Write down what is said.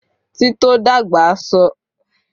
Tito dagba ṣe ipa pataki ninu titọ awọn eniyan wọn